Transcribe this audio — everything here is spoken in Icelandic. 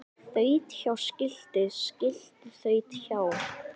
Þaut hjá skilti skilti þaut hjá